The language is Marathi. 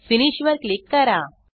फिनिश वर क्लिक करा